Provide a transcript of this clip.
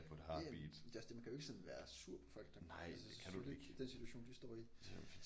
Ja ja det er også det man kan jo ikke sådan være sur på folk der altså så er det den situation de står i